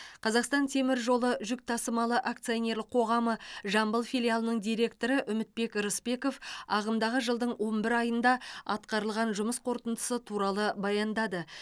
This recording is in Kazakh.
қазақстан темір жолы жүк тасымалы акционерлік қоғамы жамбыл филиалының директоры үмітбек рысбеков ағымдағы жылдың он бір айында атқарылған жұмыс қорытындысы туралы баяндады